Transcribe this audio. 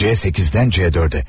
C8-dən C4-ə.